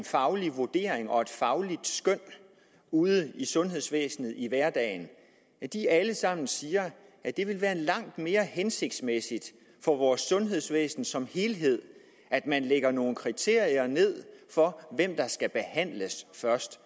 faglig vurdering og et fagligt skøn ude i sundhedsvæsenet i hverdagen alle sammen siger at det vil være langt mere hensigtsmæssigt for vores sundhedsvæsen som helhed at man lægger nogle kriterier for hvem der skal behandles først